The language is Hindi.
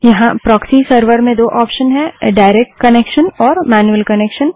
यहाँ प्रोक्सी सर्वर में दो ऑप्शन हैं डाइरेक्ट कनेक्शन और मैन्यूअल कनेक्शन